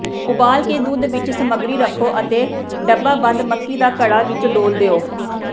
ਉਬਾਲ ਕੇ ਦੁੱਧ ਵਿਚ ਸਮੱਗਰੀ ਰੱਖੋ ਅਤੇ ਡੱਬਾਬੰਦ ਮੱਕੀ ਦਾ ਘੜਾ ਵਿੱਚ ਡੋਲ੍ਹ ਦਿਓ